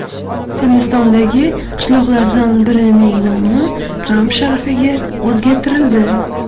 Hindistondagi qishloqlardan birining nomi Tramp sharafiga o‘zgartirildi.